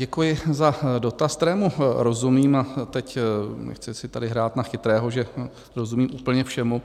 Děkuji za dotaz, kterému rozumím, a teď nechci si tady hrát na chytrého, že rozumím úplně všemu,